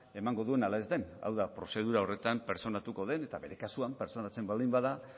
emango duen ala ez den hau da prozedura horretan pertsonatuko den eta bere kasuan pertsonatzen baldin bada